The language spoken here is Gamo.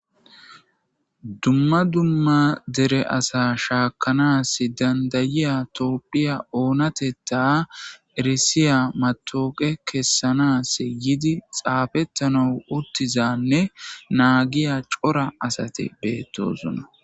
Dumma dumma dere asa shaakanas dandayiya toopphiya onateta eresiya matooqe kessanas yiidi xaafettana uttizanne naagiya cora asate beettosona.